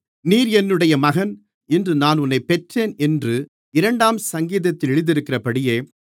நீர் என்னுடைய மகன் இன்று நான் உம்மைப் பெற்றேன் என்று இரண்டாம் சங்கீதத்தில் எழுதியிருக்கிறபடியே